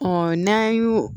n'an y'o